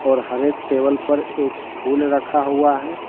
और हर एक टेबल पर एक फूल रखा हुआ है।